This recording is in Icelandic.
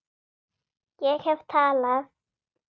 Ég hef talað